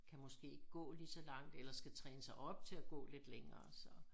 Kan måske ikke gå lige så langt eller skal træne sig op til at gå lidt længere så